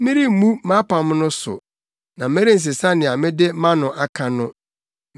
Meremmu mʼapam no so na merensesa nea mede mʼano aka no.